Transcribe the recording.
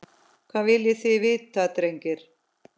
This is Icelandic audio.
Hvað viljið þið vita drengir?